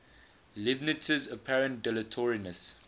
leibniz's apparent dilatoriness